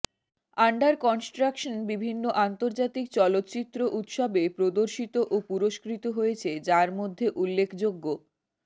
under construction বিভিন্ন আন্তর্জাতিক চলচ্চিত্র উৎসবে প্রদর্শিত ও পুরস্কৃত হয়েছে যার মধ্যে উল্লেখযোগ্যঃ